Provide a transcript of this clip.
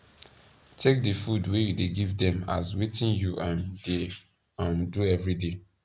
take di food wey u dey give dem as wetin u um dey um do everyday